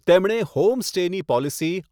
તેમણે 'હોમ સ્ટે'ની પોલિસી